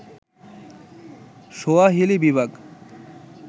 Swahili বিভাগ